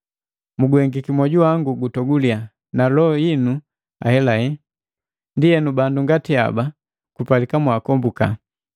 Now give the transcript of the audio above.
Muguhengiki mwoju wangu gutoguliya na loho yinu ahelahe. Ndienu bandu ngati haba kupalika kwaakomboka.